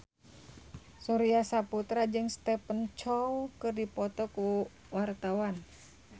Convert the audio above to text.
Surya Saputra jeung Stephen Chow keur dipoto ku wartawan